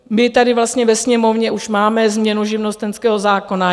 My tady vlastně ve Sněmovně už máme změnu živnostenského zákona.